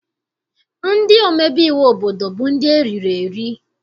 Ndị omebe iwu obodo bụ ndị eriri eri.